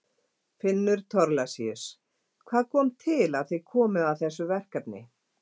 Finnur Thorlacius: Hvað kom til að þið komuð að þessu verkefni?